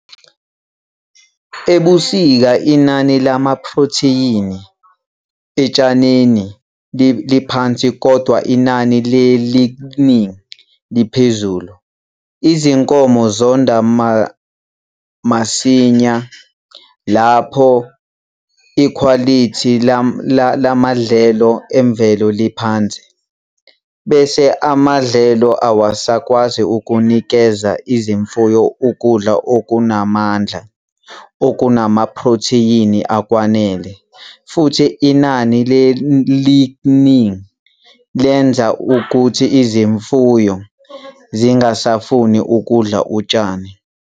Ebusika inani lamaphrothiyini etshaneni liphansi kodwa inani le-'lignin' liphezulu. Izinkomo zonda masinya lapho ikhwalithi lamadlelo emvelo liphansi, bese amadlelo awasakwazi ukunikeza izimfuyo ukudla okunamandla okunamaphrothiyini akwanele, futhi inani le-'lignin' lenza ukuthi izimfuyo zingasafuni ukudla utshani.